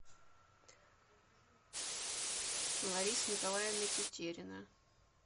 лариса николаевна тетерина